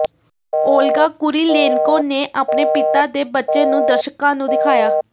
Olga Kurylenko ਨੇ ਆਪਣੇ ਪਿਤਾ ਦੇ ਬੱਚੇ ਨੂੰ ਦਰਸ਼ਕਾਂ ਨੂੰ ਦਿਖਾਇਆ